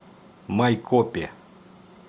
майкопе